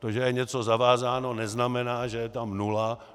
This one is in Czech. To, že je něco zavázáno, neznamená, že je tam nula.